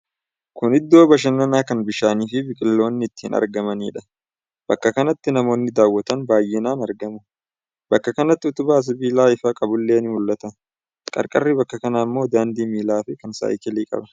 Kun iddoo bashannanaa kan bishaani fi biqiloonni itti argamaniidha. Bakka kanatti namoonni daawwatan baay'inaan argamu. Bakka kanatti utubaan sibilaa ifaa qabullee ni mul'ata. Qarqarri bakka kanaa ammoo daandii miilaa fi kan saayikilii qaba.